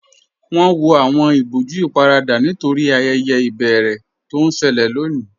Wọn wọ awọn ìbọ̀jú íparadà nítorí ayẹyẹ ibẹ̀rẹ̀ tó n ṣẹlẹ̀ lọ́ní